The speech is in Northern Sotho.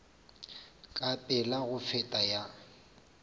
ka pela go feta ya